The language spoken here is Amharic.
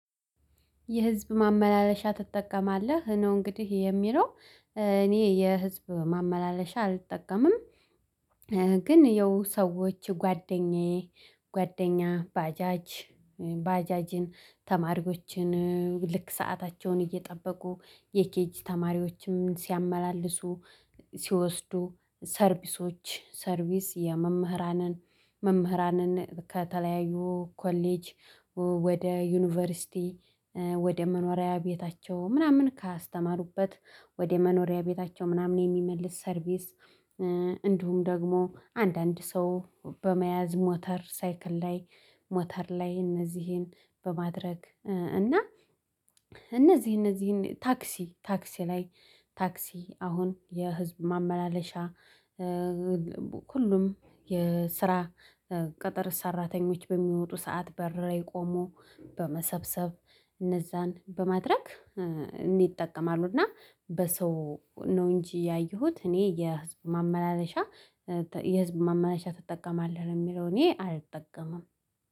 የህዝብ ማመላለሻ ትጠቀማለህ ነው እንግዲህ የሚለው? እኔ የህዝብ ማመላለሻ አልጠቀምም። ግን ይኸው ሰዎች ጓደኛዬ ጓደኛ ባጃጅ ባጃጅን ተማሪዎችን ልክ ሰአታቸውን እየጠበቁ የኬጅ ተማሪዎችም ሲያመላልሱ ሲወስዱ ሰርቪሶች ሰርቪስ የመምህራንን መምህራንን ከተለያዩ ኮሌጅ ወደ ዩኒቨርሲቲ ወደ መኖሪያ ቤታቸው ምናምን ካስተማሩበት ወደ መኖሪያ ቤታቸው ምናምን የሚመልስ ሰርቪስ። እንዲሁም ደግሞ አንዳንድ ሰው በመያዝ ሞተር ሳይክል ላይ ሞተር ላይ እነዚህን በማድረግ እና እነዚህ እነዚህን ታክሲ ታክሲ ላይ ታክሲ አሁን የህዝብ ማመላለሻ ሁሉም የስራ ቅጥር ሰራተኞች በሚወጡ ሰዓት በር ላይ ቆሞ በመሰብሰብ እነዛን በማድረግ ይጠቀማሉ። እና በሰው ነው እንጂ ያየሁት እኔ የህዝብ ማመላለሻ የህዝብ ማመላለሻ ትጠቀማለህ የሚለው እኔ አልጠቀምም።